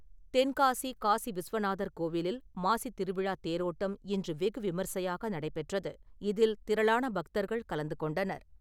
தென்காசி காசி விஸ்வநாதர் கோவிலில் மாசித் திருவிழா தேரோட்டம் இன்று வெகு விமர்சையாக நடைபெற்றது. இதில் திரளான பக்தர்கள் கலந்து கொண்டனர்.